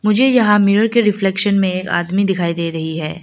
मुझे यहां मिरर के रिफ्लेक्शन में एक आदमी दिखाई दे रही है।